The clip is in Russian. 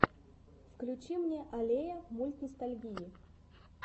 включи мне аллея мультностальгии